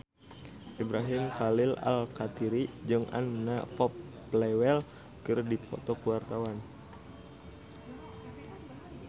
Ibrahim Khalil Alkatiri jeung Anna Popplewell keur dipoto ku wartawan